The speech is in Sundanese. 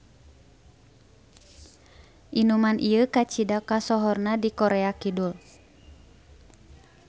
Inuman ieu kacida ksohorna di Korea Kidul.